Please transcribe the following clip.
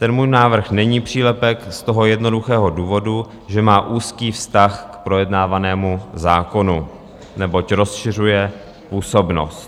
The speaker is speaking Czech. Ten můj návrh není přílepek z toho jednoduchého důvodu, že má úzký vztah k projednávanému zákonu, neboť rozšiřuje působnost.